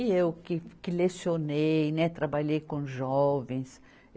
E eu que, que lecionei, né, trabalhei com jovens.